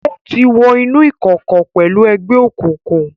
O ti wo inú ìkọkọ pẹlú egbeokunkun